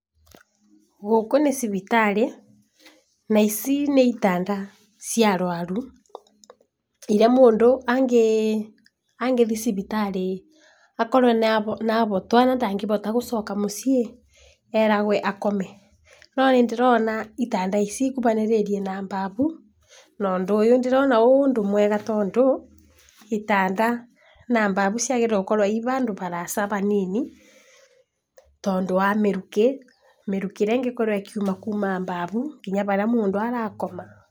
Gũkũ nĩ thibitarĩ, na ici nĩ itanda cia arwaru iria mũndũ angĩthi cibitarĩ akorwe nĩ ahotwa na ndangĩhota gũcoka mũcii ĩ eragwe akome, no nĩndĩrona itanda ici ikũhanĩrĩrie na bafu, na ũndũ ũyũ ndĩrona wĩ ũndũ mwega tondũ, gĩtanda na nadu ciagĩrĩrwo gũkorwo ihandũ haraihu hanini tondũ wa mĩrukĩ, mĩrukĩ ĩrĩa ĩngĩkorwo ĩkiuma kuuma bavu nginya harĩa mũndũ arakoma.